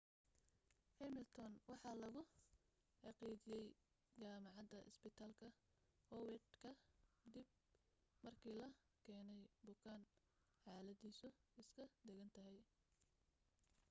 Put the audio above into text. hamilton waxa lagu xaqiijiyey jamacada isbitaalka howard ka dib markii la keeney bukaan xaladiisu iska degan tahay